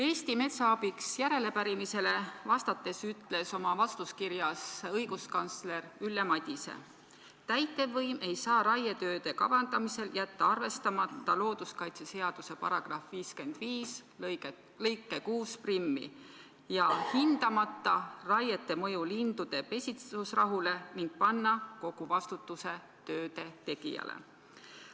Eesti Metsa Abiks järelepärimisele vastates ütles õiguskantsler Ülle Madise: "Täitevvõim ei saa raietööde kavandamisel jätta arvestamata LKS § 55 lõiget 61 ja hindamata raiete mõju lindude pesitsusrahule ning panna kogu vastutuse tööde tegijale.